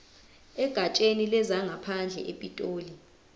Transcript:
egatsheni lezangaphandle epitoli